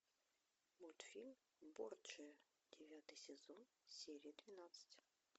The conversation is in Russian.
мультфильм борджиа девятый сезон серия двенадцать